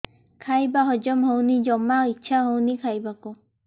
ଖାଇବା ହଜମ ହଉନି ଜମା ଇଛା ହଉନି ଖାଇବାକୁ